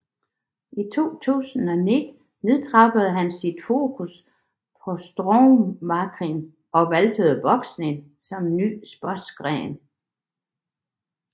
I 2009 nedtrappede han sit fokus på strongmankarrieren og valgte boksning som ny sportsgren